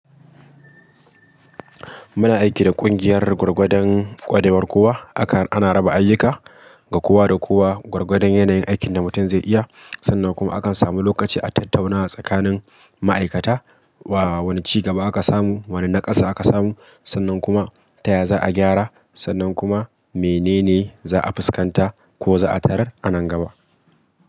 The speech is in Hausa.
Muna aiki da kungiyar gwargwadon ƙwarewar kowa. Akan ana raba ayyuka ga kowa da kowa gwargwadon yanayin aikin da mutum zai iya. Sannan kuma akan samu lokaci a tattaunawa tsakanin ma'aikata. Wa wane cigaba aka samu, wane naƙasu aka samu. Sannan kuma taya za a gyara, sannan kuma menene za a fuskanta ko za a tarar a nan gaba.